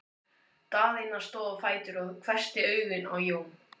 Daðína stóð á fætur og hvessti augun á Jón.